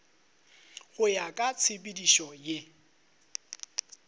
go ya ka tshepedišo ye